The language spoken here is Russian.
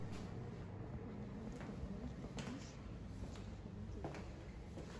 мне надо пополнить баланс телефона друга